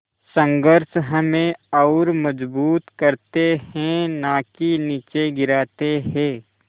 संघर्ष हमें और मजबूत करते हैं नाकि निचे गिराते हैं